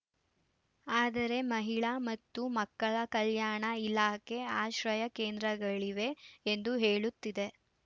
ಆದರೆ ಮಹಿಳಾ ಮತ್ತು ಮಕ್ಕಳ ಕಲ್ಯಾಣ ಇಲಾಖೆ ಆಶ್ರಯ ಕೇಂದ್ರಗಳಿವೆ ಎಂದು ಹೇಳುತ್ತಿದೆ